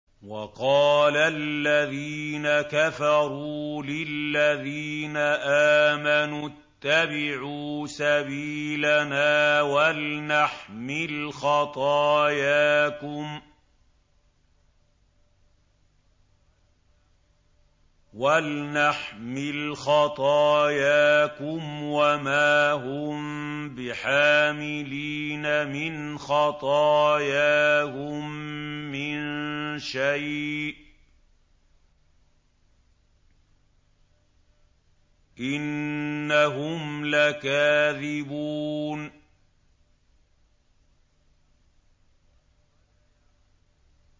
وَقَالَ الَّذِينَ كَفَرُوا لِلَّذِينَ آمَنُوا اتَّبِعُوا سَبِيلَنَا وَلْنَحْمِلْ خَطَايَاكُمْ وَمَا هُم بِحَامِلِينَ مِنْ خَطَايَاهُم مِّن شَيْءٍ ۖ إِنَّهُمْ لَكَاذِبُونَ